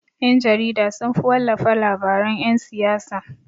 Ƴan-jarida sunfi wallafa labaran yan siyasa.